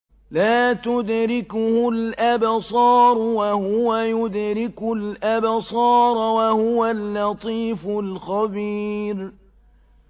لَّا تُدْرِكُهُ الْأَبْصَارُ وَهُوَ يُدْرِكُ الْأَبْصَارَ ۖ وَهُوَ اللَّطِيفُ الْخَبِيرُ